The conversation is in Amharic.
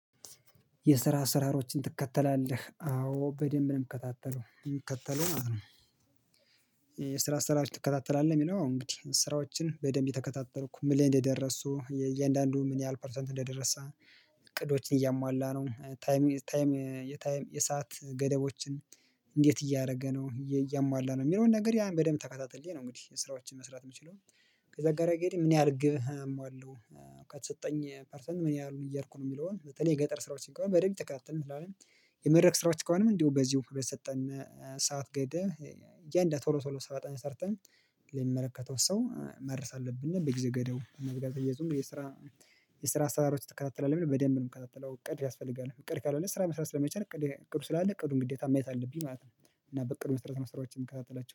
የስራ አሰራሮችን ትከተላለህ አዎ በደንብ ነው የምከታተለው የምከተለው ማለት ነው። የስራ አሰራር ትከታተላለህ የሚለው አው እንግዲህ ስራዎችን በደንብ እየተከታተልኩ ምን ላይ እንደደረሱ የእያንዳንዱ ምን ያህል ፐርሰንት እንደደረሰ? እቅዶችን እያሟላ ነው ታይም ታይም የታይም የሰዓት ገደቦችን እንዴት እያደረገ ነው እያሟላ ነው የሚለውን ነገር ያን በደንብ ተከታትዬ ነው። እንግዲህ ስራዎችን መስራት የምችለው። ከዛ ጋር እንግዲህ ምን ያህል ግብ አሟለው። ከተሰጠኝ ፐርሰንት ምን ያህሉኝ እየሄድኩ ነው የሚለውን በተለይ የገጠር ስራዎችን ከሆነ በደንብ እየተከታተልን እናየዋለን። የመድረክ ስራዎች ከሆነም እንዲሁ በዚሁ በሰጠን ሰዓት ገደብ። እያንዳንዱን ቶሎ ቶሎ ስራታችንን ሰርተን ለሚመለከተው ሰው ማድረስ አለብን። በጊዜ ገደቡ እና ብዙም የስራ የስራ አሰራሮች ትከታተላለህ ለሚለው በደንብ የምከታተለው እቅድ ያስፈልጋል። እቅድ ካልሆነ ስራ መስራት ስለማይቻል እቅዱ ስላለ እቅዱን ግዴታ ማየት አለብኝ ማለት ነው። እና በዕቅዱ መሰረት ነው ስራዎችን የምከታተላቸው